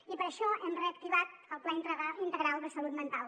i per això hem reactivat el pla integral de salut mental